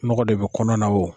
N mɔgɔ de bi kɔnɔ na wo.